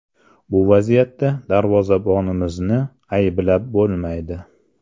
Bu vaziyatda darvozabonimizni ayblab bo‘lmaydi.